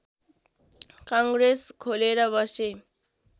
कङ्ग्रेस खोलेर बसे